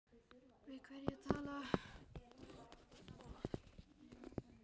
Við hverja var talað?